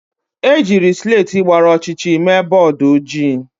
Ejiri slèti gbara ọchịchịrị mee bọọdụ ojii.